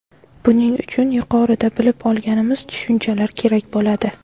Buning uchun yuqorida bilib olganimiz tushunchalar kerak bo‘ladi.